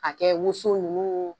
mK'a kɛ wosow ninnu